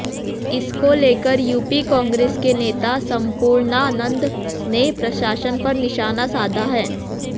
इसको लेकर यूपी कांग्रेस के नेता संपूर्णानंद ने प्रशासन पर निशाना साधा है